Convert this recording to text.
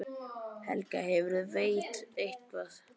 Helga: Hefurðu veitt eitthvað?